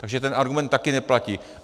Takže ten argument také neplatí.